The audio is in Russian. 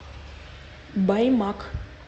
баймак